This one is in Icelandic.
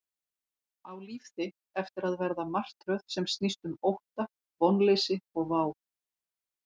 Á líf þitt eftir að verða martröð sem snýst um ótta, vonleysi og vá?